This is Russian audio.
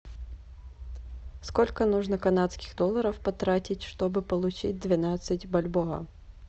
сколько нужно канадских долларов потратить чтобы получить двенадцать бальбоа